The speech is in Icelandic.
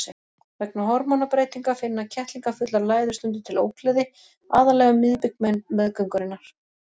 Vegna hormónabreytinga finna kettlingafullar læður stundum til ógleði, aðallega um miðbik meðgöngunnar.